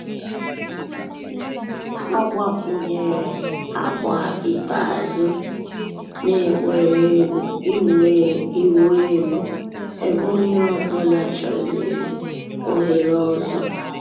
Hà gbàkwùnyèrè àgbà ikpeazụ̀ nà ègwè́régwụ̀ ị̀wụ̀ èlù ebe ònyè ọ̀bula chọ̀zị̀rị̀ òhèrè òzò.